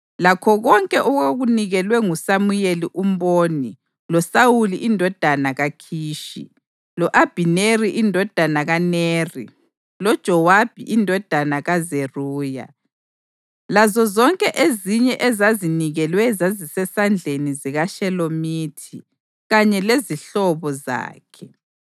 Lakho konke okwakunikelwe nguSamuyeli umboni loSawuli indodana kaKhishi, lo-Abhineri indodana kaNeri loJowabi indodana kaZeruya, lazozonke ezinye ezazinikelwe zazisesandleni sikaShelomithi kanye lezihlobo zakhe.)